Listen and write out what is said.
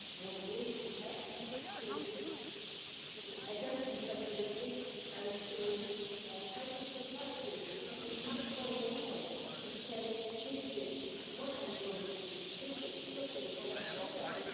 We need to act against this passivity and help society to be much more vocal, to say this is not only prohibited this is totally unacceptable.